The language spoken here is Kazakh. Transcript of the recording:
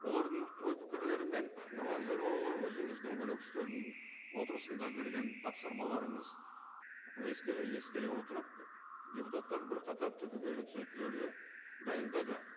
олардың ой пікірлерімен нұрлан зайроллаұлы өзіңіз дөңгелек үстелдің отырысында бергени тапсырмаларыңыз ескере отырып депутаттар бірқатар түбегейлі түзетулерді дайындады